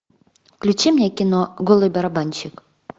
включи мне кино голый барабанщик